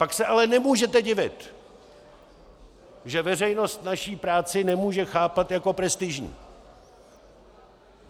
Pak se ale nemůžete divit, že veřejnost naši práci nemůže chápat jako prestižní.